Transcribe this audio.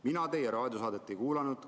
" Mina teie raadiosaadet ei kuulanud.